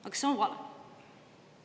Aga see on vale!